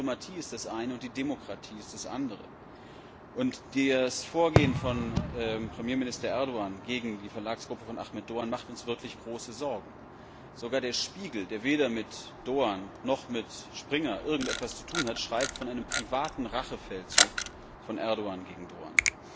Aber die Diplomatie ist das eine, und die Demokratie ist das andere. Das Vorgehen von Premierminister Erdogan gegen die Verlagsgruppe von Ahmed Doğan macht uns wirklich große Sorgen. Sogar der Spiegel, der weder mit Doğan noch mit Springer irgendetwas zu tun hat, schreibt von einem privaten Rachefeldzug von Erdogan gegen Doğan.